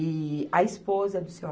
E a esposa do Seu